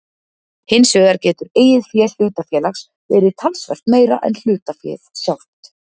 Hinsvegar getur eigið fé hlutafélags verið talsvert meira en hlutaféð sjálft.